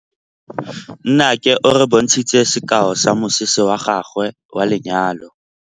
Nnake o re bontshitse sekaô sa mosese wa gagwe wa lenyalo.